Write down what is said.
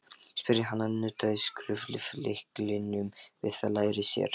spurði hann og nuddaði skrúflyklinum við læri sér.